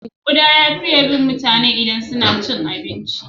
Kuda ya fiye bin mutane idan suna cin abinci.